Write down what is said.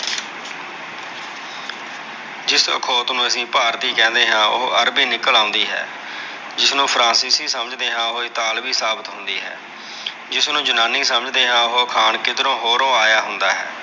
ਜਿਸ ਅਖੌਤ ਨੂੰ ਅਸੀ ਭਾਰਤੀ ਕਹਿੰਦੇ ਆ, ਉਹੋ ਅਰਬੀ ਨਿਕਲ ਆਉਂਦੀ ਹੈ। ਜਿਸ ਨੂੰ ਫਰਾਂਸੀਸੀ ਸਮਝ ਦੇ ਆ ਉਹ ਇਤਾਵਲੀ ਸਾਬਤ ਹੁੰਦੀ ਹੈ। ਜਿਸ ਨੂੰ ਜਨਾਨੀ ਸਮਝ ਦੇ ਆ, ਉਹੁ ਅਖਾਣ ਕਿਧਰੋ ਹੋਰੁ ਆਇਆ ਹੁੰਦਾ ਹੈ।